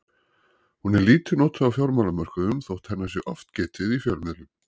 hún er lítið notuð á fjármálamörkuðum þótt hennar sé oft getið í fjölmiðlum